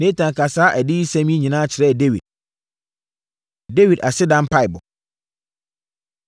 Natan kaa saa adiyisɛm yi nyinaa kyerɛɛ Dawid. Dawid Aseda Mpaeɛbɔ